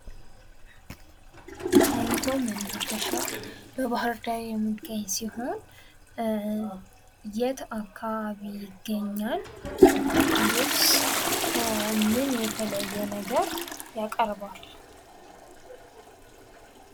ጣይቱ መናፈሻ በባህርዳር የሚገኝ ሲሆን የት አካባቢ ይገኛል? እንዲሁስ ምን የተለየ ነገር ያቀርባሉ?